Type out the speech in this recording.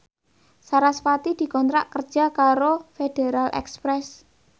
sarasvati dikontrak kerja karo Federal Express